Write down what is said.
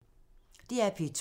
DR P2